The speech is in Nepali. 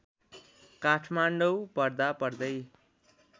काठमाडौँ पढ्दा पढ्दै